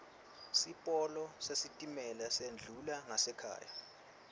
sipolo sesitimela sendlula ngasekhaya